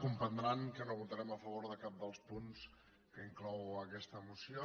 comprendran que no votarem a favor de cap dels punts que inclou aquesta moció